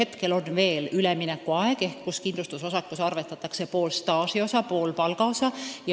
Siis on veel üleminekuaeg, mil kindlustusosakus arvestatakse pool staažiosa ja pool palgaosa.